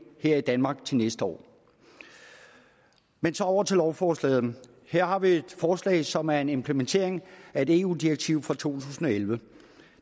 her i danmark til næste år men så over til lovforslaget her har vi et forslag som er en implementering af et eu direktiv fra to tusind og elleve